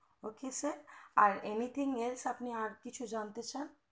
ok sir আর anything else আপনি কিছু জানতে চান